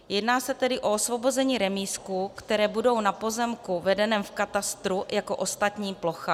Jedná se tedy o osvobození remízků, které budou na pozemku vedeném v katastru jako ostatní plocha.